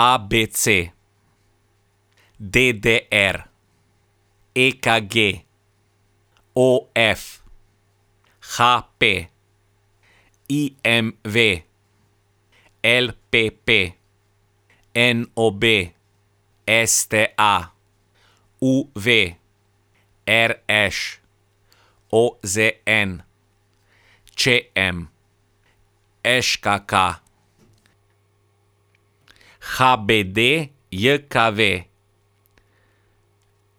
A B C; D D R; E K G; O F; H P; I M V; L P P; N O B; S T A; U V; R Š; O Z N; Č M; Ž K K; H B D J K V;